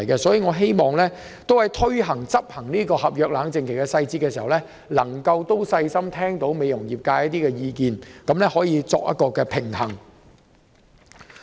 所以，我希望當局制訂合約冷靜期的細節時，能細心聆聽美容業界的意見，取得平衡。